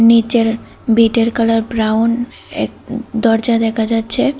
নীচের বিটের colour brown এক দরজা দেখা যাচ্ছে।